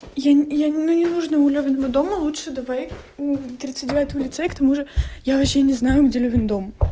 я я не не нужно у меня возле дома лучше давай к тридцать девятому лицею к тому же я вообще не знаю где лёвин дом